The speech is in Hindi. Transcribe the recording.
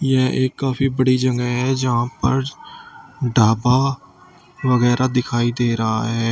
यह एक काफी बड़ी जगह है जहां पर ढाबा वगैरा दिखाई दे रहा है।